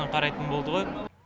қарайтын болды ғой